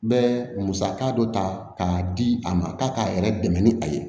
N bɛ musaka dɔ ta k'a di a ma k'a k'a yɛrɛ dɛmɛ ni a ye